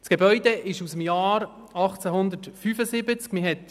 Das Gebäude stammt aus dem Jahr 1875.